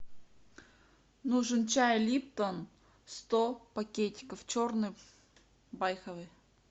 нужен чай липтон сто пакетиков черный байховый